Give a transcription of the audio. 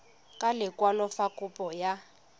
ka lekwalo fa kopo ya